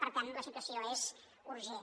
per tant la situació és urgent